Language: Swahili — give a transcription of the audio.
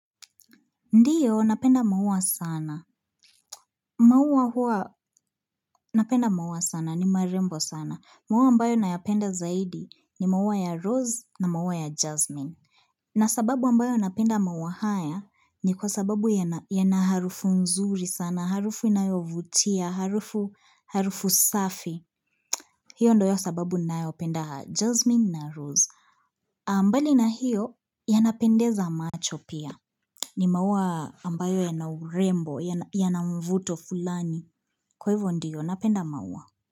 Ndiyo, napenda maua sana. Maua huwa napenda maua sana, ni marembo sana. Maua ambayo nayapenda zaidi ni maua ya rose na maua ya jasmine. Na sababu ambayo napenda maua haya ni kwa sababu yanaharufu nzuri sana, harufu inayovutia, harufu safi. Hiyo ndio sababu nayopenda jasmine na rose. Mbali na hiyo, yanapendeza macho pia. Ni maua ambayo yana urembo, yanamvuto fulani. Kwa hivyo ndiyo, napenda maua.